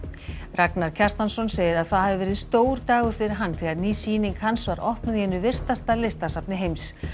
Ragnar Kjartansson segir að það hafi verið stór dagur fyrir hann þegar ný sýning hans var opnuð í einu virtasta listasafni heims